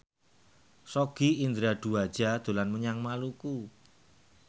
Sogi Indra Duaja dolan menyang Maluku